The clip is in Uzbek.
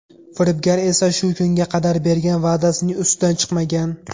Firibgar esa shu kunga qadar bergan va’dasining ustidan chiqmagan.